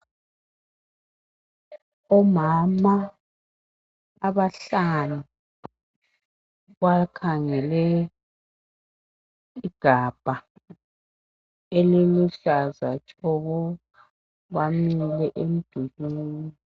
Omama abahlanu bakhangele igabha eliluhlaza tshoko. Bamile emdulwini .